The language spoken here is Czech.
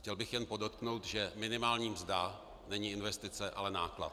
Chtěl bych jen podotknout, že minimální mzda není investice, ale náklad.